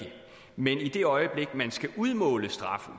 men i det øjeblik man skal udmåle straffen